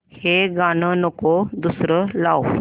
हे गाणं नको दुसरं लाव